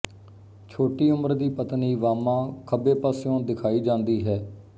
ਛੋਟੀ ਉਮਰ ਦੀ ਪਤਨੀ ਵਾਮਾ ਖੱਬੇ ਪਾਸਿਓਂ ਦਿਖਾਈ ਜਾਂਦੀ ਹੈ